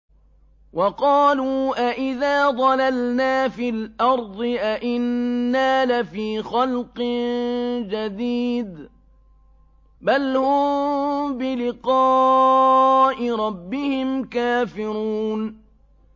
وَقَالُوا أَإِذَا ضَلَلْنَا فِي الْأَرْضِ أَإِنَّا لَفِي خَلْقٍ جَدِيدٍ ۚ بَلْ هُم بِلِقَاءِ رَبِّهِمْ كَافِرُونَ